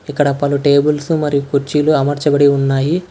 ఇక్కడ పలు టేబుల్స్ మరియు కుర్చీలు అమర్చబడి ఉన్నాయి.